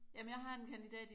Jamen jeg har en kandidat i